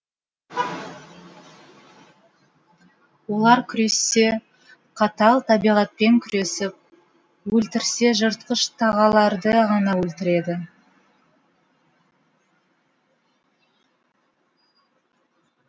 олар күрессе қатал табиғатпен күресіп өлтірсе жыртқыш тағыларды ғана өлтіреді